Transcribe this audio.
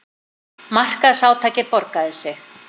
Markaðsátakið borgaði sig